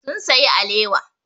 Sun sayi alewa.